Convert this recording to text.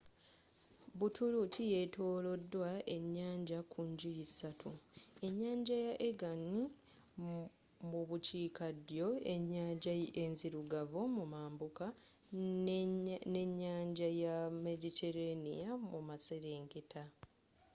buturuuki yetolodwa ennyanja ku njuyi ssatu enyanja ya aegean mu bukiikaddyo ennyanja enzirugavu mu mambuka ne nnyanja ya mediterranea mu maserengeta